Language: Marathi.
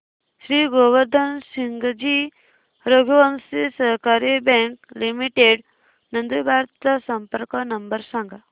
श्री गोवर्धन सिंगजी रघुवंशी सहकारी बँक लिमिटेड नंदुरबार चा संपर्क नंबर सांगा